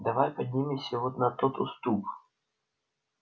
давай поднимемся вон на тот уступ